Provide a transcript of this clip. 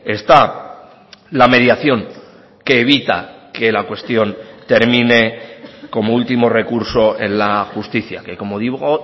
está la mediación que evita que la cuestión termine como último recurso en la justicia que como digo